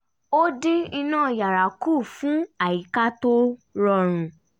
ó dín iná yàrá kù fún àyíká tó rọrùn